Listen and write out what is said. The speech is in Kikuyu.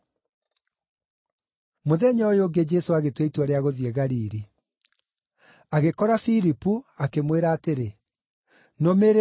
Mũthenya ũyũ ũngĩ Jesũ agĩtua itua rĩa gũthiĩ Galili. Agĩkora Filipu, akĩmwĩra atĩrĩ, “Nũmĩrĩra.”